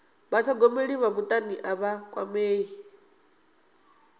vhathogomeli vha mutani a vha kwamei